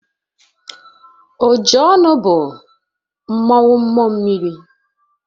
Ojionu bu mmanwu mmuo mmiri.